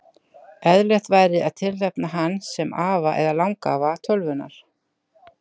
Eðlilegt væri að tilnefna hann sem afa eða langafa tölvunnar.